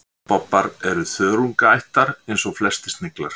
vatnabobbar er þörungaætur eins og flestir sniglar